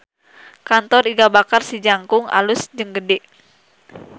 Kantor Iga Bakar Si Jangkung alus jeung gede